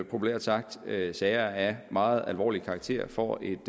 populært sagt at håndtere sager af meget alvorlig karakter får et